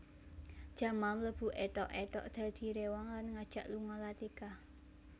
Jamal mlebu èthok èthok dadi réwang lan ngajak lunga Latika